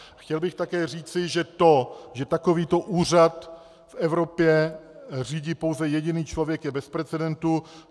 Chtěl bych také říci, že to, že takovýto úřad v Evropě řídí pouze jediný člověk, je bez precedentu.